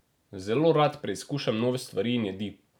Zelo rad preizkušam nove stvari in jedi.